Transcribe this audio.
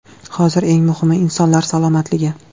Hozir eng muhimi – insonlar salomatligi.